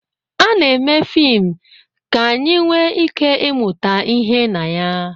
Ana-eme fim ka anyị nwee ike ịmụta ihe na ya